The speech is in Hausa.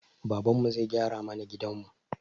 Babanmu zai gyara mana gidanmu